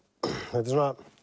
þetta er